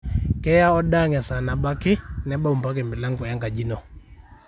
keya oda ang esaa nabo ake nebau mpaka e milango enkaji ino